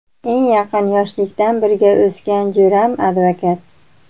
Eng yaqin, yoshlikdan birga o‘sgan jo‘ram advokat.